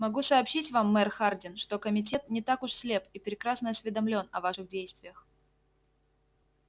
могу сообщить вам мэр хардин что комитет не так уж слеп и прекрасно осведомлён о ваших действиях